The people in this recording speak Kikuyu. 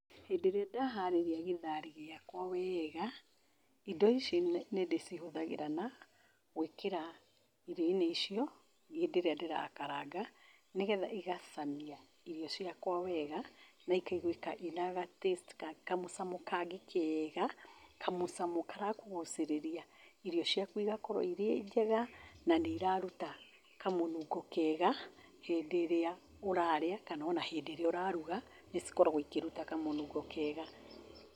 Hĩndĩ ĩrĩa ndaharĩria gĩtharĩ gĩakwa wega, indo ici nĩ ndĩcihũthagĩra na gwĩkĩra irio-inĩ icio, hĩndĩ ĩrĩa ndĩrakaranga, nĩ getha igacamia irio ciakwa wega, na ikaiguĩka ciĩna ga taste kamũcamo kangĩ kega, kamũcamo karakũgucĩrĩria, irio ciaku igakorwo irĩ njega, na nĩ iraruta kamũnungo kega, hĩndĩ ĩrĩa ũrarĩa, kana ona hĩndĩ ĩrĩa ũraruga, nĩcikoragwo ikĩruta kamũnungo kega.